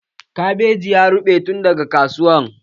Kabejin ya ruɓe tun daga kasuwa.